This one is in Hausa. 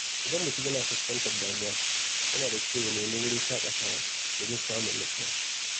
Idan mutum yana fuskantar damuwa, yana da kyau ya nemi wurin shaƙatawa domin samun natsuwa.